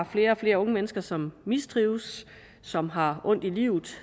flere og flere unge mennesker som mistrives som har ondt i livet